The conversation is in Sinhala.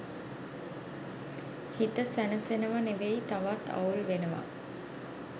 හිත සැනසෙනව නෙවෙයි තවත් අවුල් වෙනවා.